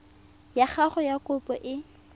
ya gago ya kopo e